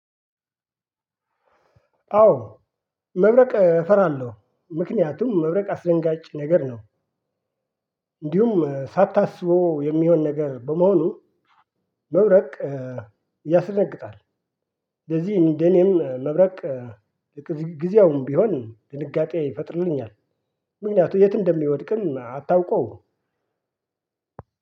አዎ መብረቅ እፈራለው ምክንያቱም መብረቅ አስደንጋጭ ነገር ነው። እንዲሁም ሳታስበው የሚሆን ነገር በመሆኑ መብረቅ ያስደነግጣል። ለዚህ እንደኔም መብረቅ ጊዜያዊም ቢሆን ድንጋጤ ይፈጥርልኛል። ምክንያቱም የት እንደሚወድቅም አታውቀው?